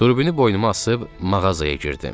Turbini boynuma asıb mağazaya girdim.